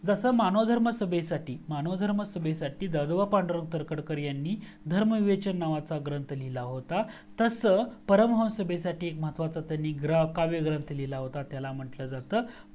जसा मानव धर्म सभेसाठी मानव धर्म सभी साठी दादोबा पांडुरंग तरखडकर यांनी धर्म विवेचन नावाचा ग्रंथ लिहिला होता तसं परम हंस सभे साठी एक महत्वाचा कवि काव्य ग्रंथ लिहिला होता त्याला म्हंटलं जातं